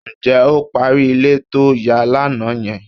Ǹjẹ́ o parí ilé to ń yà lánàá yẹn?